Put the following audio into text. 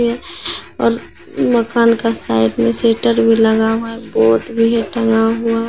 और मकान का साइड में शेटर भी लगा हुआ है बोर्ड भी टंगा हुआ हैं।